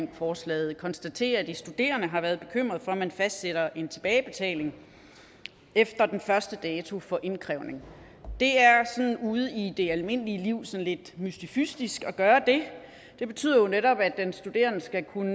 om forslaget konstaterede at de studerende har været bekymrede for at man fastsætter en tilbagebetaling efter den første dato for indkrævning det er ude i det almindelige liv sådan lidt mystifistisk at gøre det det betyder jo netop at den studerende skal kunne